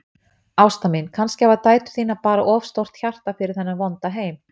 Ásta mín, kannski hafa dætur þínar bara of stórt hjarta fyrir þennan vonda heim.